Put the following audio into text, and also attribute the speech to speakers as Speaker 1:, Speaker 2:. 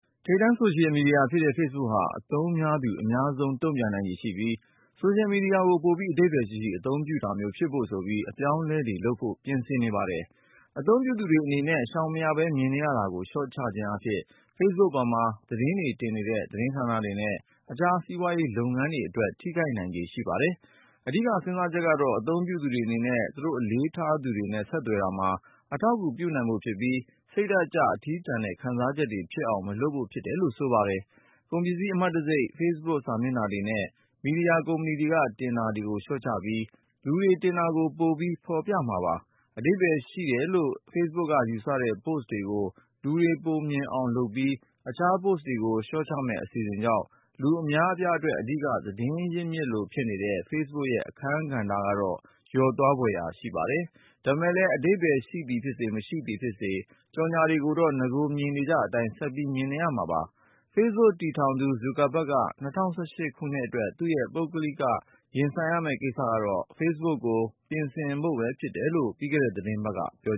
Speaker 1: ထိပ်တန်း ဆိုရှယ်မီဒီယာဖြစ်တဲ့ Facebook ဟာ အသုံးပြုသူတွေ အများဆုံး တုန့်ပြန်နိုင်ခြေရှိပြီး ဆိုရှယ်မီဒီယာကို ပိုပြီး အဓိပ္ပါယ်ရှိရှိ အသုံးပြုတာမျိုးဖြစ်ဖို့ဆိုပြီး အပြောင်းအလဲတွေလုပ်ဖို့ ပြင်ဆင်နေပါတယ်။ အသုံးပြုသူတွေအနေနဲ့ ရှောင်မရဘဲ မြင်နေရတာတွေကို လျှော့ချခြင်းအားဖြင့် Facebook ပေါ်မှာ သတင်းတွေတင်နေတဲ့ သတင်းဌာနတွေနဲ့ တခြား စီးပွားရေးလုပ်ငန်းတွေအတွက်တော့ ထိခိုက်နိုင်ခြေရှိပါတယ်။ အဓိကစဉ်းစားချက်ကတော့ အသုံးပြုသူတွေအနေနဲ့ သူတို့အလေးထားသူတွေနဲ့ ဆက်သွယ်တာမှာ အထောက်အကူပြုဖို့ဖြစ်ပြီး စိတ်ဓာတ်ကျ အထီးကျန်တဲ့ ခံစားချက်တွေဖြစ်အောင် မလုပ်ဖို့ဖြစ်တယ်လို့ဆိုပါတယ်။ ကုန်ပစ္စည်းအမှတ်တံဆိပ်တွေ၊ Facebook စာမျက်နှာတွေနဲ့ မီဒီယာကုမ္ပဏီတွေက တင်တာတွေကို လျှော့ချပြီး လူတွေတင်တာ ကို ပိုပြီး ဖော်ပြမှာပါ။ အဓိပ္ပါယ်ရှိတယ်လို့ Facebook က ယူဆတဲ့ Post တွေကို လူတွေပိုမြင်အောင်လုပ်ပြိး တခြား Post တွေကို လျှော့ချမယ့် အစီအစဉ်ကြောင့် လူအများအပြားအတွက် အဓိကသတင်းရင်းမြစ်လိုဖြစ်နေတဲ့ Facebook ရဲ့ အခန်းကဏ္ဍက တော့ လျော့သွားဖွယ် ရှိပါတယ်။ ဒါပေမဲ့လဲ အဓိပ္ပါယ်ရှိသည်ဖြစ်စေ၊ မရှိသည်ဖြစ်စေ ကြော်ငြာတွေကိုတော့ နဂိုမြင်နေကျအတိုင်းပဲ ဆက်ပြီး မြင်နေကြရမှာပါ။ Facebook တည်ထောင်သူ Zuckerberg က ၂၀၁၈ ခုနှစ်အတွက် သူ့ရဲ့ ပုဂ္ဂလိက ရင်ဆိုင်ရမယ့်ကိစ္စကတော့ Facebook ကို ပြင်ဆင်ဖို့ပဲဖြစ်တယ်လို့ ပြီးခဲ့တဲ့သီတင်းပတ်
Speaker 2: က ပြော